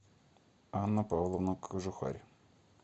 анна павловна кожухарь